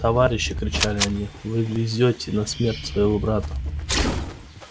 товарищи кричали они вы везёте на смерть своего брата